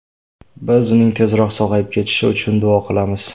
Biz uning tezroq sog‘ayib ketishi uchun duo qilamiz.